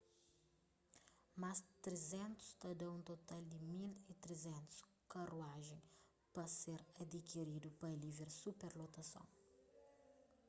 más 300 ta dá un total di 1.300 karuajen pa ser adikiridu pa alivia superlotason